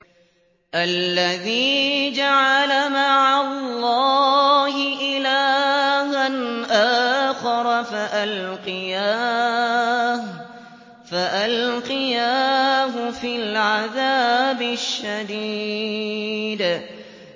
الَّذِي جَعَلَ مَعَ اللَّهِ إِلَٰهًا آخَرَ فَأَلْقِيَاهُ فِي الْعَذَابِ الشَّدِيدِ